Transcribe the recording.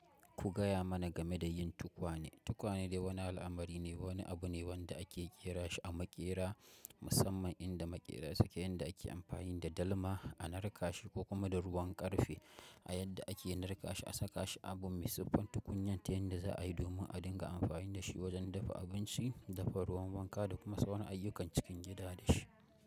Ku gaya mana game da yin tukwane. Tukwane dai wani al'amari ne, wani abu ne wanda ake ƙera shi a maƙera musamman inda maƙera suke inda ake amfani da dalma a narka shi ko kuma da ruwan ƙarfe a yadda ake narka shi a saka shi abu mai siffar tukunyar ta yanda za a yi domin a dinga amfani da shi wajen dafa abinci, dafa ruwan wanka da kuma sauran ayyukan cikin gida da shi.